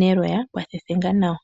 neloya pwa thethenga nawa.